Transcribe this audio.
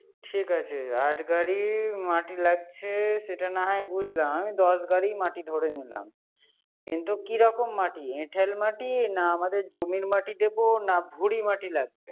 ঠিক আছে। আট গাড়ি মাটি লাগছে। সেটা না হয় বুঝলাম। আমি দশ গাড়ি মাটি ধরে নিলাম। কিন্তু কি রকম মাটি, এঠেল মাটি, না আমাদের জমির মাটি দিব, না ভুঁড়ি মাটি লাগবে